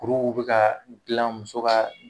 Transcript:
Kuruw bɛ ka dilan muso ka